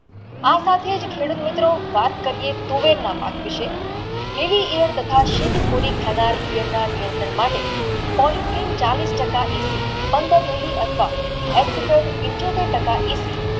આ સાથે જ ખેડૂત મિત્રો વાત કરીયે તો તુવેર ના પાક વિષે POLYTRIN ચાલીશ ટાકા જેટલી પંદર Mili અથવા